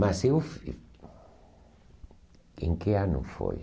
Mas eu... Em que ano foi?